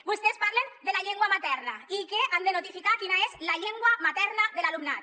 vostès parlen de la llengua materna i que han de notificar quina és la llengua materna de l’alumnat